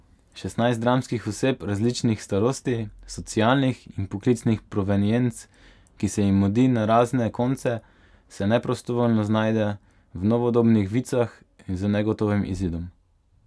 Šestnajst dramskih oseb različnih starosti, socialnih in poklicnih provenienc, ki se jim mudi na razne konce, se neprostovoljno znajde v novodobnih vicah z negotovim izidom.